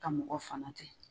Ka mɔgɔ fana ten.